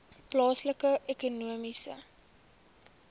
plaaslike ekonomiese